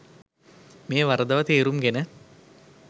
මෙය වරදවා තේරුම් ගෙන